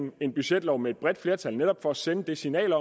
vi en budgetlov med et bredt flertal netop for at sende det signal